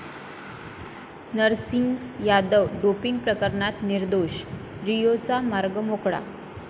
Narsing Yadav doping प्रकरणात निर्दोष, 'रिओ'चा मार्ग मोकळा